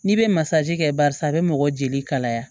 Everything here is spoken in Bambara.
N'i bɛ masaji kɛ barisa a bɛ mɔgɔ jeli kalaya